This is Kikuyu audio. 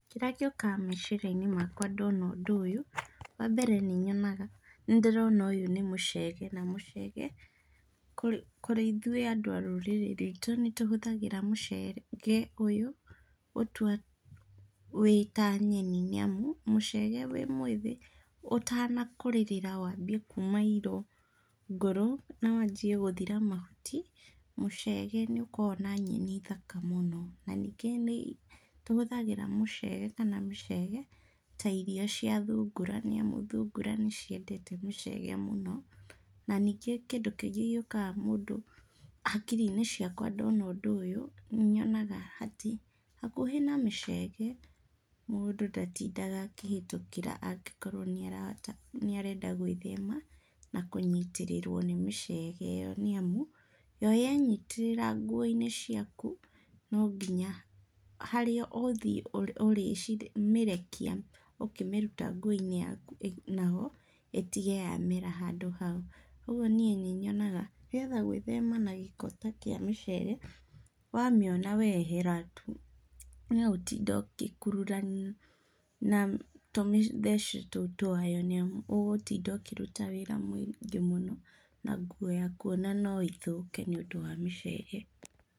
Kĩrĩa gĩũkaga meciria-inĩ makwa ndona ũndũ ũyũ, wambere nĩ nyonaga, nĩndĩrona ũyũ nĩ mũcege, na mũcege kũrĩ kũrĩ ithuĩ andũ a rwitũ nĩtũhũthagĩra mũcege ũyũ gũtua wĩ ta nyeni, nĩamu mũcege wĩ mwĩthĩ ũtanakũrĩrĩra wambie kuma irongoro na wanjie gũthira mahuti, mũcege nĩũkoragwo na nyeni thaka mũno. Na, ningĩ nĩtũhũthagĩra mũcege kana mĩcege ta irio cia thungura nĩamu thungura nĩciendete mĩcege mũno. Na ningĩ kĩndũ kĩngĩ gĩũkaga mũndũ hakiri-inĩ ciakwa ndona ũndũ ũyũ, nĩnyonaga nĩatĩ hakuhĩ na mĩcege mũndũ ndatindaga akĩhĩtũkĩra angĩkorwo nĩarahota nĩarenda gwĩthema na kũnyitĩrĩrwo nĩ mĩcege ĩyo nĩamu, yo yenyitĩrĩra nguo-inĩ ciaku no nginya harĩa ũgũthiĩ ũrĩmĩrekia ũkĩmĩruta nguo-inĩ yaku naho ĩtige yamera handũ hau. Ũguo niĩ nĩnyonaga, nĩgetha gwĩthema na gĩko ta kĩa mĩcege, wamĩona wee ehera tu. Tiga gũtinda ũgĩkururania na tũmĩthece tũu twayo nĩamu ũgũtinda ũkĩruta wĩra mũingĩ mũno, na nguo yaku ona no ĩthũke nĩũndũ wa mĩcege.